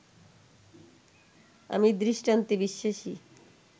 আমি দৃষ্টান্তে বিশ্বাসী